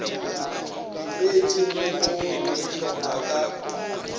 dikreiting le go dihlopha ka